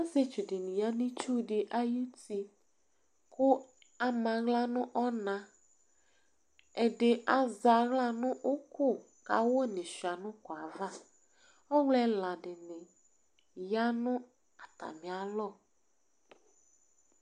Ɔsiétsu dini ya nu itsudi ayuti Ku ama aɣla nu ɔna Ɛdi aza aɣla nu uku ka awu di chua nu uku ava Ɔwlɔ ɛla dini ya nu atamia lɔ